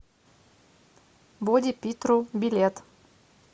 боди питру билет